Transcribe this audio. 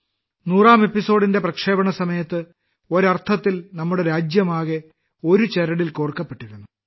നൂറാം എപ്പിസോഡിന്റെ പ്രക്ഷേപണസമയത്ത് ഒരർത്ഥത്തിൽ നമ്മുടെ രാജ്യമാകെ ഒരു ചരടിൽ കോർക്കപ്പെട്ടിരുന്നു